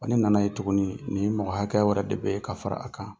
Ani nana ye tuguni ni mɔgɔ hakɛya wɛrɛ de bɛ yen ka fara a kan